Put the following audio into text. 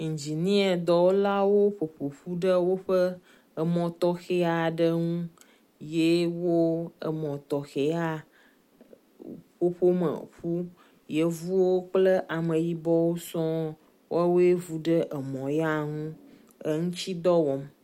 Ingniadɔwɔlawo ƒoƒoƒu ɖe woƒe emɔ tɔxe aɖe ŋu ye wo emɔ tɔxe ya ƒoƒom eƒu. Yevuwo kple ameyibɔwo sɔ wɔwoe vu ɖe emɔ ya ŋu eŋutsidɔ wɔm.